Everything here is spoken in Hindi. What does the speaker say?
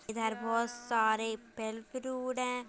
इधर बहुत सारे फल फ्रूट है।